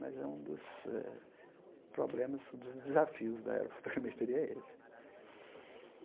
Mas é um dos eh problemas, dos desafios da aerofotogramasteria é esse.